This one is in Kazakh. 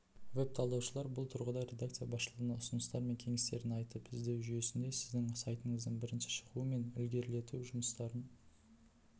веб-талдаушылар бұл тұрғыда редакция басшылығына ұсыныстары мен кеңестерін айтып іздеу жүйесінде сіздің сайтыңыздың бірінші шығуы мен ілгерілету жұмыстарын